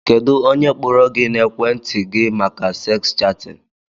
Kedụ ónyé kpọrọ gị n'ekwenti gị màkà seks chatin?